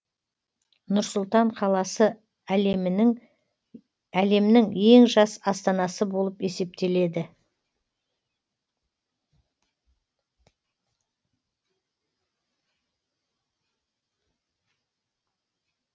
нұр сұлтан қаласы әлемнің ең жас астанасы болып есептеледі